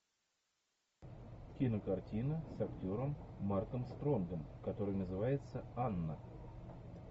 кинокартина с актером марком стронгом которая называется анна